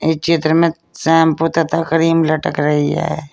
इस चित्र में शैंपू तथा क्रीम लटक रही है।